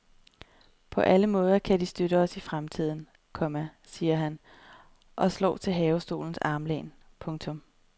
På alle måder kan de støtte os i fremtiden, komma siger han og slår til havestolens armlæn. punktum